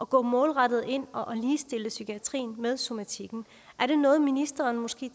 gå målrettet ind og ligestille psykiatrien med somatikken er det noget ministeren måske